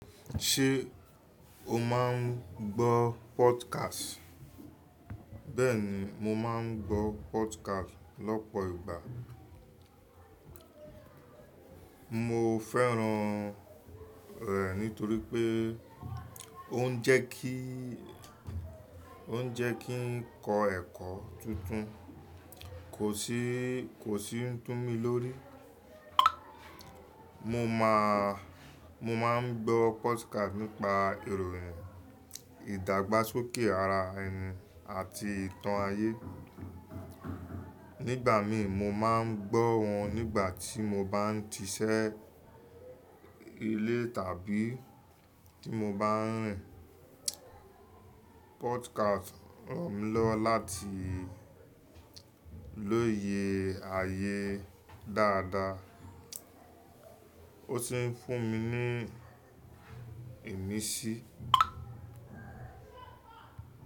Ṣé o máa ń gbọ́ podcast? Bẹ́ẹ̀ni, mo máa ń gbọ́ podcast lọ́pọ̀ ìgbà. Mo fẹ́ràn rẹ̀ nítorí pé ó ń jẹ́ kí, ó ń jẹ́ kí n kọ ẹkọ tuntun, kò sì ń tú mí lórí. Mo máa, mo máa ń gbọ́ podcast nípa ìròyìn, ìdàgbàsókè ara ẹni àti ìtàn ayé. Nígbà mí, mo máa ń gbọ́ wọn nígbà tí mo bá ń ṣiṣẹ́ ilé tàbí tí mo bá ń rìn. Podcast ran mi lọ́wọ́ láti lóye ayé dáadáa, ó sì ń fún mi ní ìmísí.